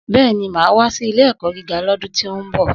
Bẹ́ẹ̀ni, mà á wá sí ilé ẹ̀kọ́ gíga lọ́dún tí ó ń bọ̀.